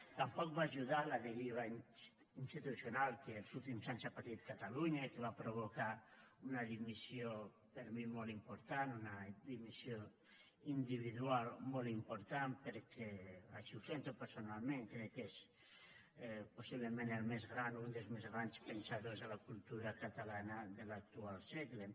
tampoc hi va ajudar la deriva institucional que els últims anys ha patit catalunya i que va provocar una dimissió per mi molt important una dimissió individual molt important perquè així ho sento personalment crec que és possiblement el més gran un dels més grans pensadors de la cultura catalana de l’actual segle